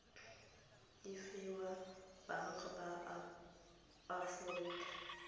e fiwa baagi ba aforika